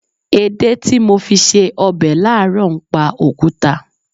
Èdè tí mo fi ṣe ọbẹ̀ láàárọ̀ ń pa òkúta.